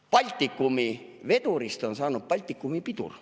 Baltikumi vedurist on saanud Baltikumi pidur.